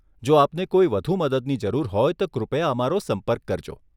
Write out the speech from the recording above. જો આપને કોઈ વધુ મદદની જરૂર હોય તો કૃપયા અમારો સંપર્ક કરજો.